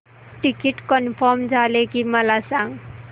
ticket confirm झाले की मला सांग